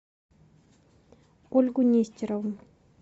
ольгу нестерову